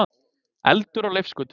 Eldur á Leifsgötu